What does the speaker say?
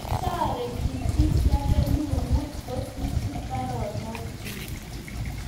Netoreti Bw.Wood kosirchi baronokchi